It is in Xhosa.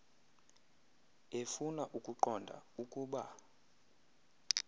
efuna ukuqonda ukuba